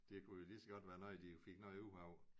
Det kunne jo ligeså godt være noget de fik noget ud af